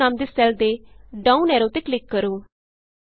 Itemਨਾਮ ਦੇ ਸੈੱਲ ਦੇ down arrow ਤੇ ਕਲਿਕ ਕਰੋ